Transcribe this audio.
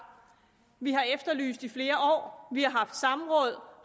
vi har efterlyst i flere år vi har haft samråd